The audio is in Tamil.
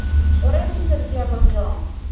ஒரே னிமிசம் இருகியா கொஞ்சம்